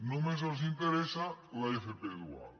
només els interessa l’fp dual